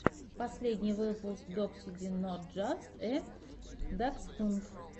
последний выпуск докси дин нот джаст э даксхунд